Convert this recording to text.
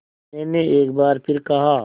मैंने एक बार फिर कहा